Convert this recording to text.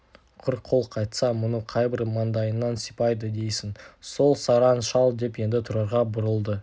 құр қол қайтса мұны қайбір маңдайынан сипайды дейсің сол сараң шал деп енді тұрарға бұрылды